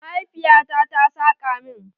Mahaifiya ta ta saƙa min.